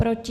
Proti?